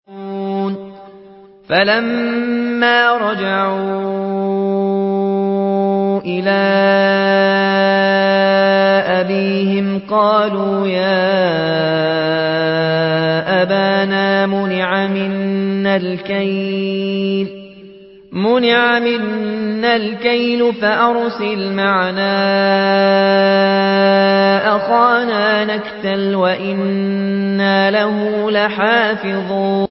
فَلَمَّا رَجَعُوا إِلَىٰ أَبِيهِمْ قَالُوا يَا أَبَانَا مُنِعَ مِنَّا الْكَيْلُ فَأَرْسِلْ مَعَنَا أَخَانَا نَكْتَلْ وَإِنَّا لَهُ لَحَافِظُونَ